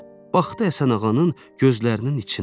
Baxdı Həsənağanın gözlərinin içinə.